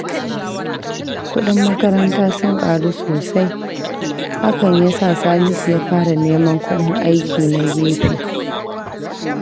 Kudin makaranta sun karu sosai, hakan yasa Salisu ya fara neman kudin aiki na gefe.